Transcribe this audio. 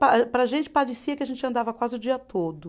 Pa para gente parecia que a gente andava quase o dia todo.